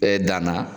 Ɛɛ danna